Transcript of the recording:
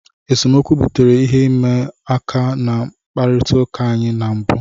Esemokwu butere ihe ịma aka na mkpakọrịta anyị na mbụ.